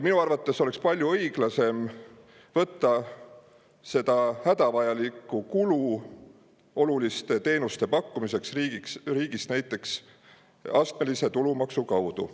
Minu arvates oleks palju õiglasem võtta hädavajalike oluliste teenuste pakkumiseks riigis näiteks astmelise tulumaksu kaudu.